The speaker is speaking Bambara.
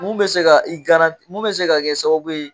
Mun bɛ se ka i mun bɛ se ka kɛ sababu ye